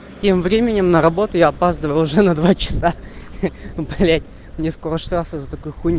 тем временем на работу я опаздываю уже на два часа блять мне скоро штраф из за такой хуйни